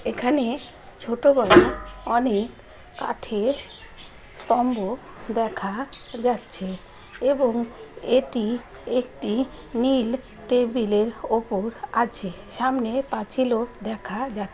এখানে ছোটবেলা অনেক কাঠের স্তম্ভ দেখা যাচ্ছে । এবং এটি একটি নীল টেবিলের ওপর আছে সামনে পাছিল দেখা যাক --